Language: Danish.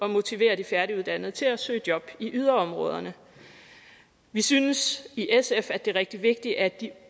at motivere de færdiguddannede til at søge job i yderområderne vi synes i sf at det er rigtig vigtigt at de